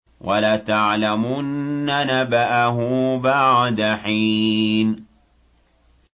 وَلَتَعْلَمُنَّ نَبَأَهُ بَعْدَ حِينٍ